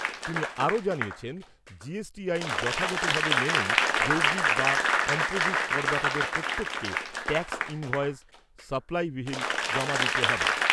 তিনি আরো জানিয়েছেন, আইন যথাযথভাবে মেনেই যৌগিক বা করদাতাদের প্রত্যেককে ট্যাক্স ইনভয়েজ সাপ্লাই বিল জমা দিতে হবে।